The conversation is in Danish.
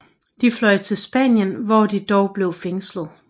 De fløj til Spanien hvor de dog blev fængslet